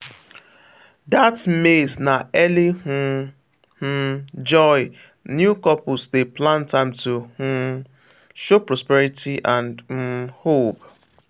that maize na early um um joy new couples dey plant am to um show prosperity and um hope.